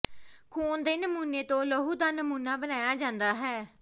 ਖੂਨ ਦੇ ਨਮੂਨੇ ਤੋਂ ਲਹੂ ਦਾ ਨਮੂਨਾ ਬਣਾਇਆ ਜਾਂਦਾ ਹੈ